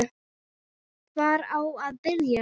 Hvar á að byrja?